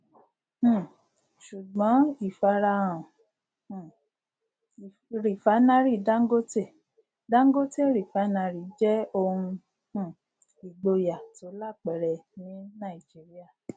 um sùgbọn ìfarahàn um rìfánárì dangote dangote refinery jẹ ohun um ìgboyà tó lápẹrẹ ní nàìjíríà